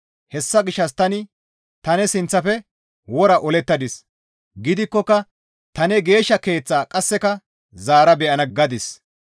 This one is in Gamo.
Hessa gishshas tani, ‹Ta ne sinththafe wora olettadis; gidikkoka ta ne geeshsha keeththaa qasseka zaara be7ana› gadis.